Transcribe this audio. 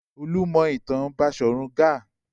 Olú mọ ìtàn Baṣọ̀run Gáà.